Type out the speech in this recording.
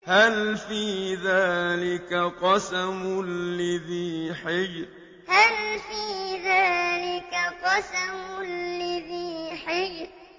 هَلْ فِي ذَٰلِكَ قَسَمٌ لِّذِي حِجْرٍ هَلْ فِي ذَٰلِكَ قَسَمٌ لِّذِي حِجْرٍ